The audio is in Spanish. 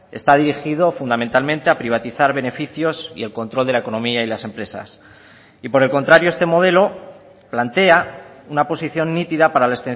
está dirigido fundamentalmente a privatizar beneficios y el control de la economía y las empresas y por el contrario este modelo plantea una posición nítida para la